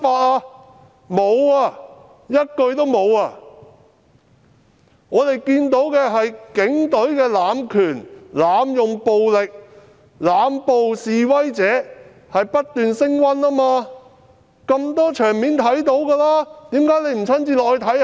市民從多個場面看到的是警隊濫權、濫用暴力、濫捕示威者，而且情況不斷升溫。